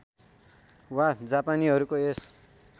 वा जापानीहरूको यस